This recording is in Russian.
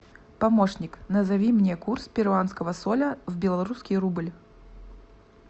помощник назови мне курс перуанского соля в белорусский рубль